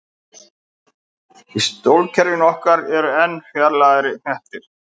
Í sólkerfinu okkar eru enn fjarlægari hnettir.